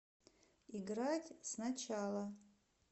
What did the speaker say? играть сначала